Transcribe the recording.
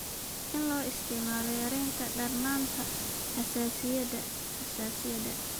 In loo isticmaalo yaraynta darnaanta xasaasiyadda (xasaasiyadda).